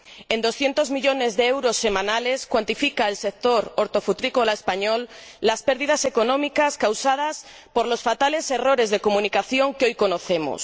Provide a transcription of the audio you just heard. En doscientos millones de euros semanales cuantifica el sector hortofrutícola español las pérdidas económicas causadas por los fatales errores de comunicación que hoy conocemos